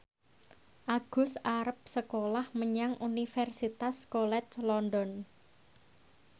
Agus arep sekolah menyang Universitas College London